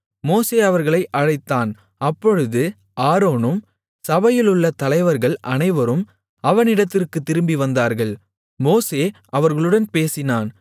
மோசே அவர்களை அழைத்தான் அப்பொழுது ஆரோனும் சபையிலுள்ள தலைவர்கள் அனைவரும் அவனிடத்திற்குத் திரும்பி வந்தார்கள் மோசே அவர்களுடன் பேசினான்